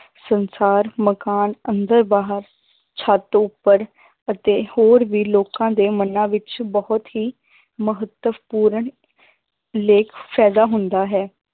ਸੰਸਾਰ ਮਕਾਨ ਅੰਦਰ ਬਾਹਰ ਛੱਤ ਉੱਪਰ ਅਤੇ ਹੋਰ ਵੀ ਲੋਕਾਂ ਦੇ ਮਨਾ ਵਿੱਚ ਬਹੁਤ ਹੀ ਮਹੱਤਵਪੂਰਨ ਫ਼ਾਇਦਾ ਹੁੰਦਾ ਹੈ